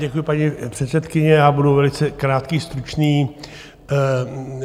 Děkuju, paní předsedkyně, já budu velice krátký, stručný.